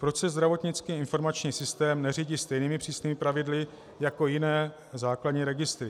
Proč se zdravotnický informační systém neřídí stejnými přísnými pravidly jako jiné základní registry?